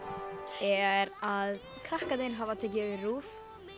er að krakkarnir hafa tekið yfir RÚV